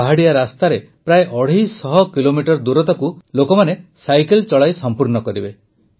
ପାହାଡ଼ିଆ ରାସ୍ତାରେ ପ୍ରାୟ ଅଢ଼େଇ ଶହ କିଲୋମିଟର ଦୂର ଏହି ଲୋକେ ସାଇକେଲ ଚଳାଇ ସଂପୂର୍ଣ୍ଣ କରିବେ